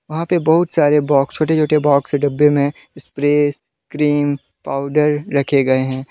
वहां पे बहुत सारे बॉक्स छोटे छोटे बॉक्स है डब्बे में स्प्रे क्रीम पाउडर रखे गए हैं।